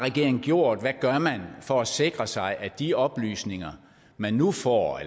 gjort og hvad gør man for at sikre sig at de oplysninger man nu får